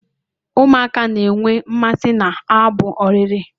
Ụmụaka na-enwe mmasị n'abụ ọrịre